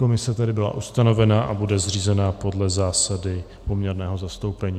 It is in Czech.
Komise tedy byla ustavena a bude zřízena podle zásad poměrného zastoupení.